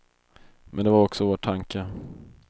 Men det var också vår tanke.